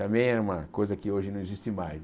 Também era uma coisa que hoje não existe mais.